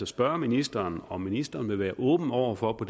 spørge ministeren om ministeren vil være åben over for at